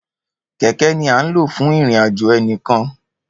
Kẹkẹ ni a n lo fún ìrìn àjò enikan